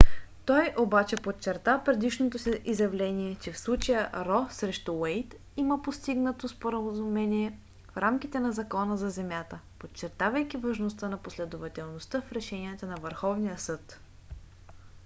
той обаче подчерта предишното си изявление че в случая ро срещу уейд има постигнато споразумение в рамките на закона за земята подчертавайки важността на последователността в решенията на върховния съд